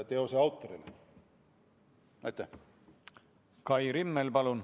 Kai Rimmel, palun!